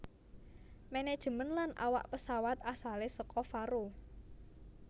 Manajemen lan awak pesawat asale saka Faroe